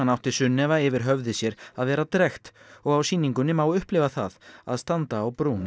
átti Sunnefa yfir höfði sér að vera drekkt og á sýningunni má upplifa það að standa á brún